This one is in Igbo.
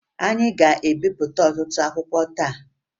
Anyị ga-ebipụta ọtụtụ akwụkwọ taa